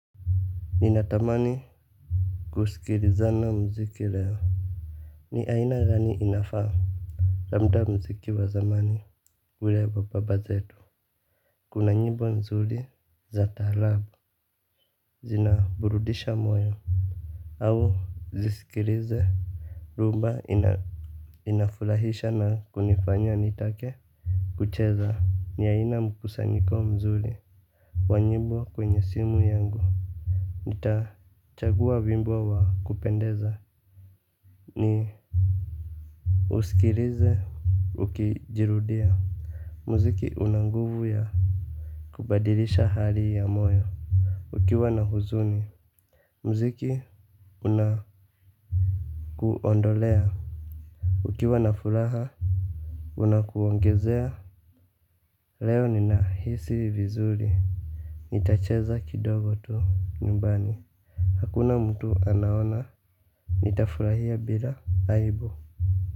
Ninatamani kusikilizana mziki leo. Ni aina gani inafaa labda mziki wa zamani ule wa baba zetu. Kuna nyimbo nzuri za taarabu. Zinaburudisha moyo au zisikilize Rhumba inafurahisha na kunifanya nitake kucheza ni aina mkusanyiko mzuli wa nyimbo kwenye simu yangu. Nitachagua wimbo wa kupendeza ni usikikize, ukijirudia. Muziki una nguvu ya kubadilisha hali ya moyo ukiwa na huzuni. Ukiwa na furaha Unakuongezea. Leo ninahisi vizuri nitacheza kidogo tu nyumbani. Hakuna mtu anaona. Nitafurahia bila aibu.